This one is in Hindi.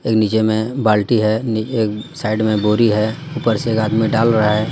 एक नीचे में बाल्टी है नी एक साइड में बोरी है ऊपर से एक आदमी डाल रहा है.